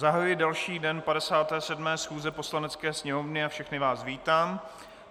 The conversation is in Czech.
Zahajuji další den 57. schůze Poslanecké sněmovny a všechny vás vítám.